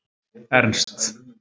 Ernst